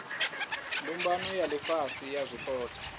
mbumbano ya ifhasi ya zwipotso